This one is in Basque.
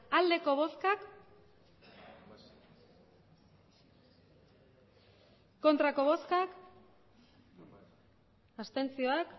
emandako botoak